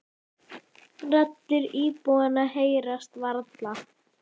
Raddir íbúanna heyrast varla.